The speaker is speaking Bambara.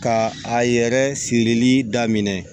Ka a yɛrɛ sirili daminɛ